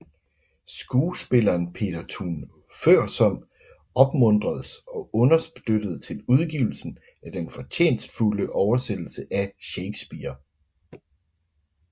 Skuespilleren Peter Thun Foersom opmuntredes og understøttedes til udgivelsen af den fortjenstfulde oversættelse af Shakespeare